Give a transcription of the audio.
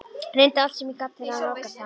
Reyndi allt sem ég gat til að nálgast hann.